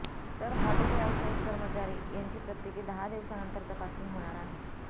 तर हॉटेल व्यावसायिक कर्मचारी यांची प्रत्येकी दहा दिवसानंतर तपासणी होणार आहे